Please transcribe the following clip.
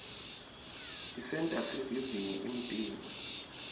tisenta sivivinye umtimba